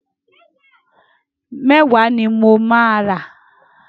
Mẹ́wàá ni mo máa rà.